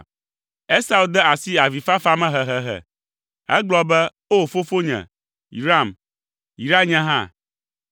Esau de asi avifafa me hehehe. Egblɔ be, “Oo fofonye, yram! Yra nye hã!”